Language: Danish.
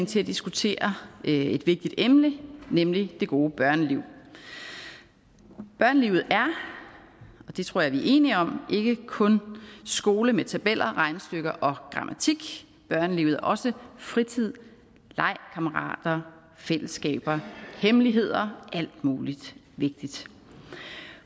til at diskutere et vigtigt emne nemlig det gode børneliv børnelivet er og det tror jeg vi er enige om ikke kun skole med tabeller regnestykker og grammatik børnelivet er også fritid leg kammerater fællesskaber hemmeligheder alt muligt vigtigt